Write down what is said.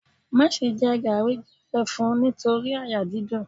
Má jẹ garri gbẹrẹfun torí àyà dídùn.